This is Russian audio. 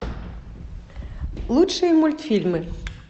лучшие мультфильмы